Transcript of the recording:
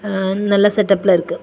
ம்ம் நல்ல செட்டப்ல இருக்கு.